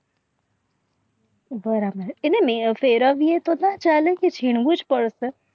બરાબર છે એના ફેરાબ ને ચાલે ને મિલાવું પડશે.